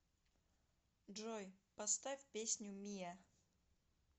джой поставь песню миа